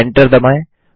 enter दबाएँ